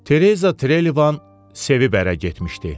Tereza Trelevan sevib ərə getmişdi.